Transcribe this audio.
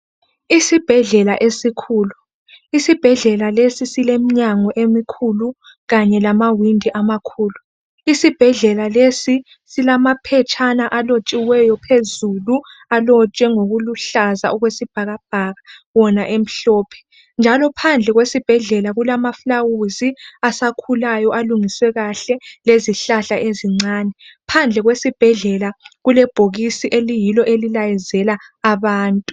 Isibhedlela esikhulu isibhedlela lesi silemnyango emikhulu kanye lamawindi amakhulu. Isibhedlela lesi silamaphetshana alotshiweyo phezulu alotshwe ngokuluhlaza okwesibhakabhaka wona emhlophe njalo phandle kwesibhedlela kulama fulawuzi asakhulayo alungiswe kahle lezihlahla ezincane. Phandle kwesibhedlela kulebhokisi eliyilo elilayezela abantu.